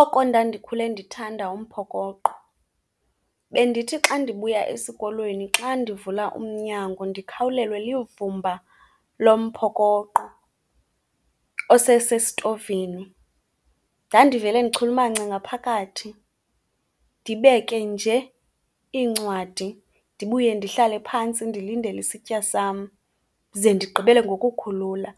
Oko ndandikhule ndithanda umphokoqo. Bendithi xa ndibuya esikolweni xa ndivula umnyango ndikhawulelwe livumba lomphokoqo osesesitovini. Ndandivele ndichulumance ngaphakathi, ndibeke nje iincwadi ndibuye ndihlale phantsi ndilindele isitya sam, ze ndigqibele ngokukhulula.